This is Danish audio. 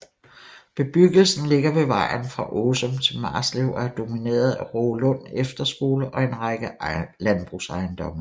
Bebyggelsen ligger ved vejen fra Åsum til Marslev og er domineret af Rågelund Efterskole og en række landbrugsejendomme